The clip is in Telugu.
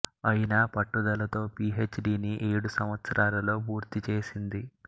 అయినా పట్టుదలతో పి హెచ్ డిని ఏడు సంవత్సరాలలో పూర్తిచేసింది